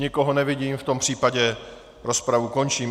Nikoho nevidím, v tom případě rozpravu končím.